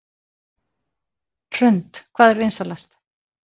Hrund: Hvað er vinsælast?